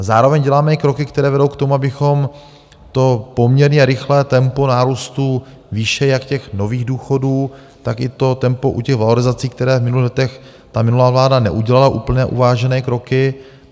A zároveň děláme i kroky, které vedou k tomu, abychom to poměrně rychlé tempo nárůstu výše jak těch nových důchodů, tak i to tempo u těch valorizací, které - v minulých letech ta minulá vláda neudělala úplné uvážené kroky.